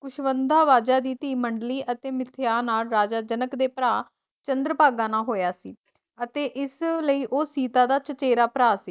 ਕੁਸ਼ਵੰਦਾਵਦਾ ਦੀ ਧੀ ਮੰਨਡਲੀ ਅਤੇ ਮਿਥਿਆ ਨਾਲ ਰਾਜਾ ਜਨਕ ਦੇ ਭਰਾ ਚੰਦਰਭਾਗਾ ਨਾਲ ਹੋਇਆ ਸੀ ਅਤੇ ਇਸਲਈ ਉਹ ਸੀਤਾ ਦਾ ਚਚੇਰਾ ਭਰਾ ਸੀ